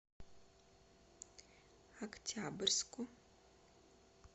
октябрьску